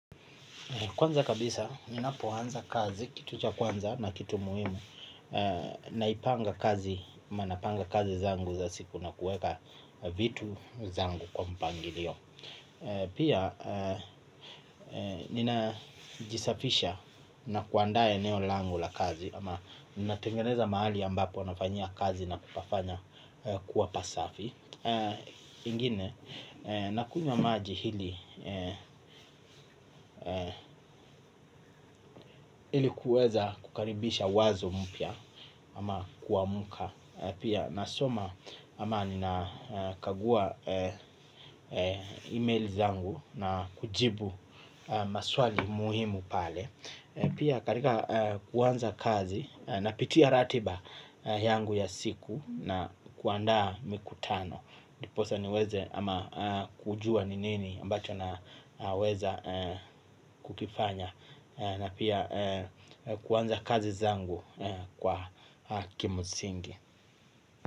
Kwanza kabisa, ni napoanza kazi, kituja kwanza na kitu muhimu, naipanga kazi, manapanga kazi zangu za siku na kueka vitu zangu kwa mpangilio. Pia, ninajisafisha na kuanda eneolangu la kazi, ama natengeneza maali ambapo nafanyia kazi na kupafanya kuwa pasafi. Ingine, nakunywa maji hili kuweza kukaribisha wazo mpya. Ama kuwa muka. Pia nasoma ama nina kagua email zangu na kujibu maswali muhimu pale. Pia karika kuanza kazi napitia ratiba yangu ya siku na kuandaa mikutano. Ndiposa niweze ama kujua ni nini ambacho na weza kukifanya na pia kuanza kazi zangu kwa kimsingi.